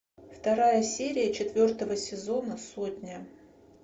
вторая серия четвертого сезона сотня